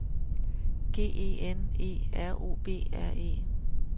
G E N E R O B R E